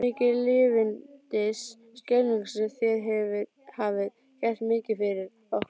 Mikið lifandis skelfing sem þér hafið gert mikið fyrir okkur.